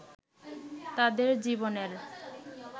তাদের জীবনের